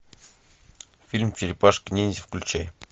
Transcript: фильм черепашки ниндзя включай